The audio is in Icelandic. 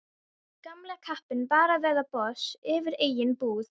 Gamli kappinn bara að verða boss yfir eigin búð.